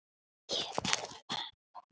Ég þarf að fara núna